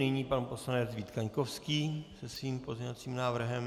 Nyní pan poslanec Vít Kaňkovský se svým pozměňovacím návrhem.